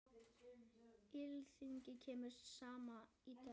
Alþingi kemur saman í dag.